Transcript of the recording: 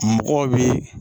Mɔgɔw bi